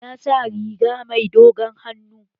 Ya sa riga mai dogon hannu